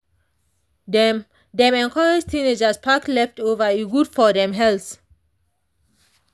dem dem encourage teenagers pack leftover e good for dem health.